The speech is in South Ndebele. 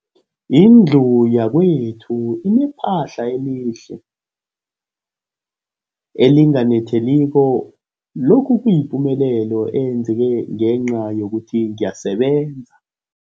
Indlu yakwethu inephahla elihle, elinganetheliko, lokhu kuyipumelelo eyenzeke ngenca yokuthi ngiyasebenza.